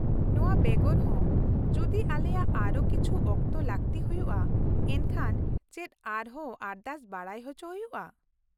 -ᱱᱚᱶᱟᱵᱮᱜᱚᱨ ᱦᱚᱸ , ᱡᱩᱫᱤ ᱟᱞᱮᱭᱟᱜ ᱟᱨᱦᱚᱸ ᱠᱤᱪᱷᱩᱠ ᱚᱠᱛᱚ ᱞᱟᱹᱠᱛᱤ ᱦᱩᱭᱩᱜᱼᱟ ᱮᱱᱠᱷᱟᱱ ᱪᱮᱫ ᱟᱨᱦᱚᱸ ᱟᱨᱫᱟᱥ ᱵᱟᱰᱟᱭ ᱦᱚᱪᱚ ᱦᱩᱭᱩᱜᱼᱟ ?